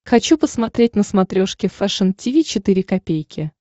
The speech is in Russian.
хочу посмотреть на смотрешке фэшн ти ви четыре ка